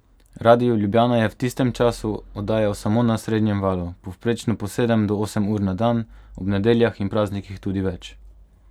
Radio Ljubljana je v tistem času oddajal samo na srednjem valu, povprečno po sedem do osem ur na dan, ob nedeljah in praznikih tudi več.